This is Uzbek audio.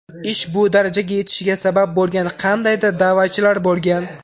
Ish bu darajaga yetishiga sabab bo‘lgan qandaydir da’vatchilar bo‘lgan.